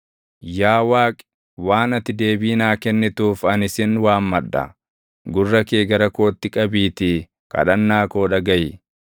Yaa Waaqi, waan ati deebii naa kennituuf ani sin waammadha; gurra kee gara kootti qabiitii kadhannaa koo dhagaʼi.